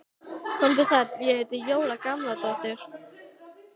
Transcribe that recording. Komdu sæll, ég heiti Jóra Gamladóttir